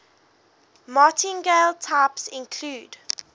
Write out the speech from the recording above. martingale types include